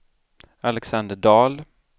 Alexander Dahl